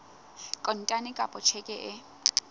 kontane kapa ka tjheke e